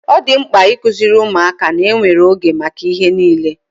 Ọ dị mkpa ikuziri ụmụaka ná enwere ego maka ihe niile